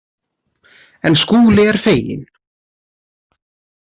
En Skúli er feginn.